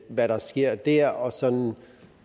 hvad der sker der og sådan